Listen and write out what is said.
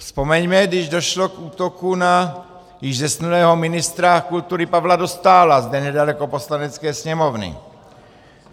Vzpomeňme, když došlo k útoku na již zesnulého ministra kultury Pavla Dostála zde nedaleko Poslanecké sněmovny.